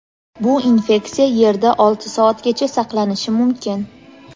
Bu infeksiya yerda olti soatgacha saqlanishi mumkin.